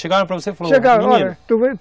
Chegaram para você e